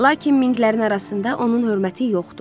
Lakin Minglərin arasında onun hörməti yoxdur.